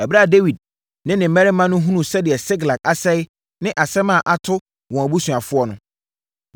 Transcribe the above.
Ɛberɛ a Dawid ne ne mmarima no hunuu sɛdeɛ Siklag asɛeɛ ne asɛm a ato wɔn abusuafoɔ no,